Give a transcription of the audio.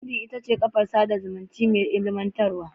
Lindin ita ce kafar sada zumunci mai ilimantarwa.